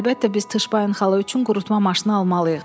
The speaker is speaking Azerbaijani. Əlbəttə biz Tışbain xala üçün qurutma maşını almalıyıq.